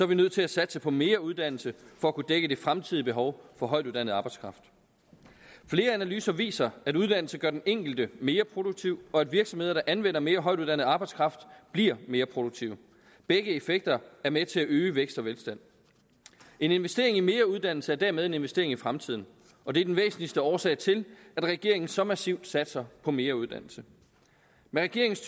vi nødt til at satse på mere uddannelse for at kunne dække det fremtidige behov for højtuddannet arbejdskraft flere analyser viser at uddannelse gør den enkelte mere produktiv og at virksomheder der anvender mere højtuddannet arbejdskraft bliver mere produktive begge effekter er med til at øge vækst og velstand en investering i mere uddannelse er dermed en investering i fremtiden og det er den væsentligste årsag til at regeringen så massivt satser på mere uddannelse med regeringens